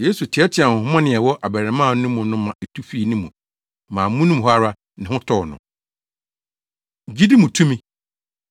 Yesu teɛteɛɛ honhommɔne a ɛwɔ abarimaa no mu no ma etu fii ne mu ma amono mu hɔ ara ne ho tɔɔ no. Gyidi Mu Tumi